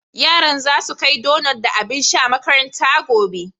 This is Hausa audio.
Yaran za su kai donut da abin sha makaranta gobe.